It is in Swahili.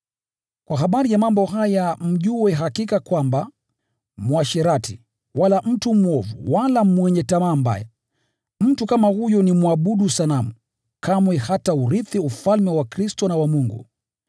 Kwa habari ya mambo haya mjue hakika kwamba: Msherati, wala mtu mwovu, wala mwenye tamaa mbaya, mtu kama huyo ni mwabudu sanamu, kamwe hataurithi Ufalme wa Kristo na wa Mungu.